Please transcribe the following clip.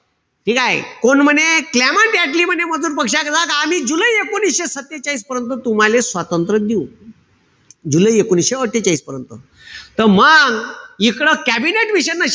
ठीकेय? कोण म्हणे? कलमेण्ट ऍटली म्हणे मजूर पक्षाचा, आम्ही जुलै एकोणीशे सत्तेचाळीस पर्यंत तुम्हाले स्वातंत्र्य देऊ. जुलै एकोणीशे अट्ठेचाळीस पर्यंत. त मंग इकडं कॅबिनेट मिशनन